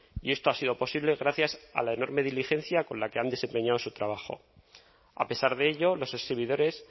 y esto ha sido posible gracias a la enorme diligencia con la que han desempeñado su trabajo a pesar de ello los exhibidores